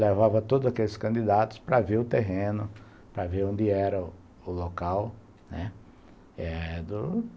levava todos aqueles candidatos para ver o terreno, para ver onde era o local, né.